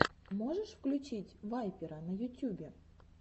можешь включить вайпера на ютюбе